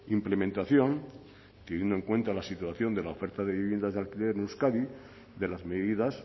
implementación teniendo en cuenta la situación de la oferta de viviendas de alquiler en euskadi de las medidas